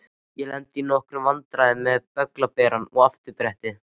Ég lenti í nokkrum vandræðum með bögglaberann og afturbrettið.